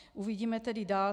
Uvidíme tedy dál.